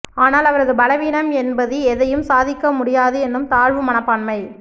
ஆனால் அவரது பலவீனம் என்பது எதையும் சாதிக்க முடியாது என்னும் தாழ்வு மனப்பான்மை